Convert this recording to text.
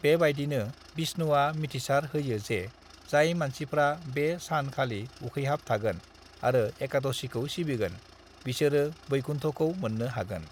"बेबादिनो विष्णुआ मिथिसार होयो जे जाय मानसिफ्रा बे सान खालि उखैहाब थागोन आरो एकादशीखौ सिबिगोन, बिसोरो वैकुन्ठखौ मोननो हागोन।"